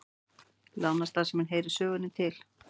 Lánastarfsemin heyrir sögunni til